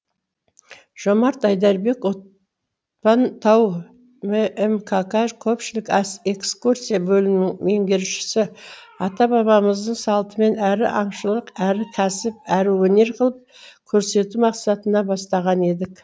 жомарт айдарбек отпан тау ммқк көпшілік экскурсия бөлімінің меңгерушісі ата бабамыздың салтымен әрі аңшылық әрі кәсіп әрі өнер қылып көрсету мақсатында бастаған едік